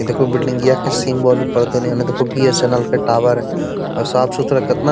इ देखो बिल्डिंगयां के सिंबल ऊपर देएने होअ अ देखो बी.एस.एन.एल. के टावर हेय साफ-सुथरा केतना।